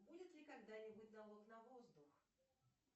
будет ли когда нибудь налог на воздух